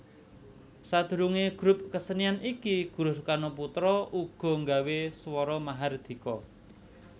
Sadurunge grup kesenian iki Guruh Soekarnoputra uga nggawe Swara Mahardhika